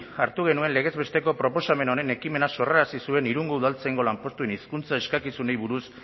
hartu genuen legez besteko proposamen honen ekimena sorrarazi zuen irungo udaltzaingo lanpostuen hizkuntza eskakizunei buruz